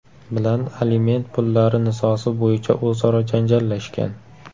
bilan aliment pullari nizosi bo‘yicha o‘zaro janjallashgan.